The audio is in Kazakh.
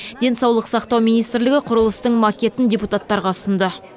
денсаулық сақтау министрлігі құрылыстың макетін депутаттарға ұсынды